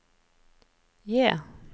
J